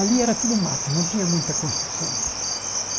Ali era tudo mato, não tinha muita construção.